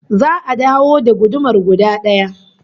Za'a dawo da gudumar guda daya